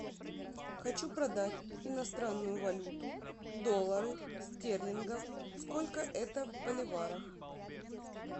хочу продать иностранную валюту доллары стерлингов сколько это в боливарах